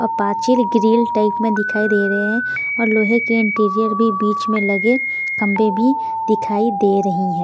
और पाचिल grill type में दिखाई दे रहे हैं और लोहे के इंटीरियर भी बीच में लगे खंबे भी दिखाई दे रहे हैं।